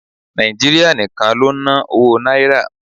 Nàìjíríà nìkan ló ń ná owó Náírà.